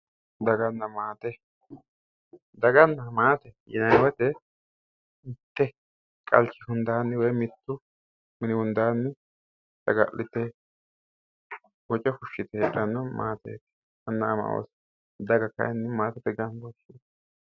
daganna maate daganna maatete yinanni woyiite mitte qalchu hundaanni woy mittu mini hundaanni saga'lite woce fushshite heedhanno maate anna ama oosote daga kayiinni maatete gambooshsheeti.